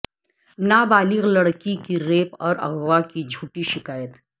نابالغ لڑکی کی ریپ اور اغوا کی جھوٹی شکایت